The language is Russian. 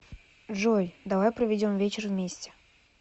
джой давай проведем вечер вместе